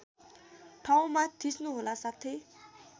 ठाउँमा थिच्नुहोला साथै